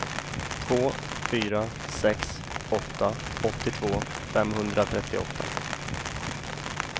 två fyra sex åtta åttiotvå femhundratrettioåtta